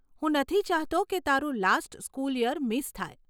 હું નથી ચાહતો કે તારું લાસ્ટ સ્કૂલ યર મિસ થાય.